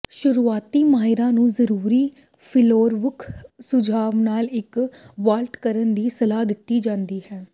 ਸ਼ੁਰੂਆਤੀ ਮਾਹਿਰਾਂ ਨੂੰ ਜ਼ਰੂਰੀ ਫਿਲੀਰੋਵੁਕ ਸੁਝਾਅ ਨਾਲ ਇੱਕ ਵਾਲਟ ਕਰਨ ਦੀ ਸਲਾਹ ਦਿੱਤੀ ਜਾਂਦੀ ਹੈ